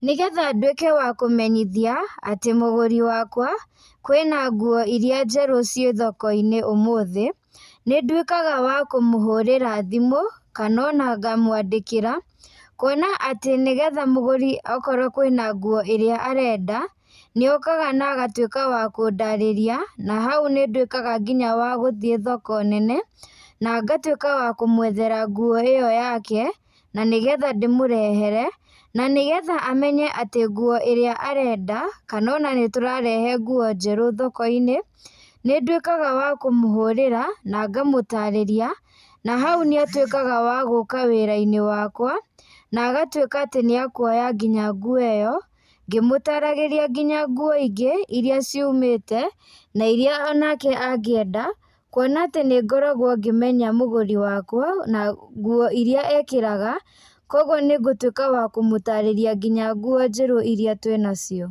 Nĩgetha nduĩke wa kũmenyithia, atĩ Mũgũri wakwa kwĩna nguo iria njerũ ci thokoinĩ ũmũthĩ, nĩndũĩkaga wa kũmũhũrĩra thimũ kana ona ngamwandĩkĩra, kũona atĩ nĩgetha mũgũri okorwo kwĩna nguo irĩa arenda nĩokaga nagatũika wa kũndarĩria, na haũ ninduĩkaga nginya wa gũthiĩ thoko nene nangatũika wa kũmwethera ngũo iyo yake na nĩgetha ndĩmũrehere na nĩgetha amenye atĩ, ngũo irĩa arenda kana ona nĩtũrarehe ngũo njerũ thokoinĩ, nĩndũikaga wa kũmũhũrĩra na ngamũtarĩria na haũ nĩatũikaga wa guka wĩrainĩ wakwa na agatũika atĩ wa kũoya nginya nguo iyo ngĩmũtaragĩria nginya nguo ingĩ iria ciumĩte na iria onake angĩenda kũona atĩ nĩngoragwo ngĩmenya mũgũri wakwa na nguo iria ekagĩra koguo nĩngũtuika wa kũmutarĩria nginya nguo njerũ iria twĩnacio.